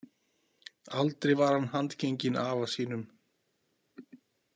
Aldrei var hann handgenginn afa sínum.